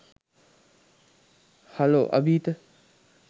hello Abheetha